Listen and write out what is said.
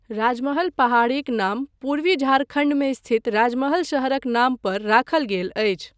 राजमहल पहाड़ीक नाम पूर्वी झारखण्डमे स्थित राजमहल शहरक नाम पर राखल गेल अछि।